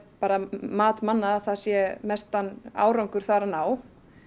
mat manna að það sé mestan árangur þar að ná